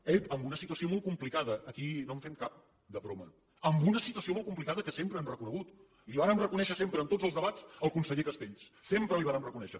ep amb una situació molt complicada aquí no en fem cap de broma amb una situació molt complicada que sempre hem reconegut la hi vàrem reconèixer sempre en tots els debats al conseller castells sempre li ho vàrem reconèixer